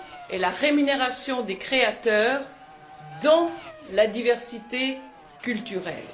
et la rémunération des créateurs dans la diversité culturelle?